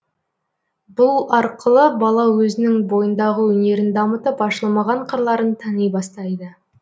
бұл арқылы бала өзінің бойындағы өнерін дамытып ашылмаған қырларын тани бастайды